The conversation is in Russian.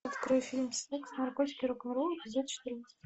открой фильм секс наркотики и рок н ролл эпизод четырнадцать